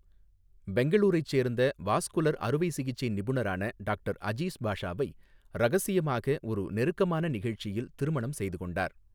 பெங்களூரைச் சேர்ந்த வாஸ்குலர் அறுவை சிகிச்சை நிபுணரான டாக்டர் அஜீஸ் பாஷாவை ரகசியமாக ஒரு நெருக்கமான நிகழ்ச்சியில் திருமணம் செய்து கொண்டார்.